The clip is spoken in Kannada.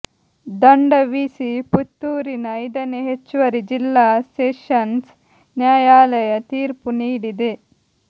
ದಂಡ ವಿಸಿ ಪುತ್ತೂರಿನ ಐದನೇ ಹೆಚ್ಚುವರಿ ಜಿಲ್ಲಾ ಸೆಷನ್ಸ್ ನ್ಯಾಯಾಲಯ ತೀರ್ಪು ನೀಡಿದೆ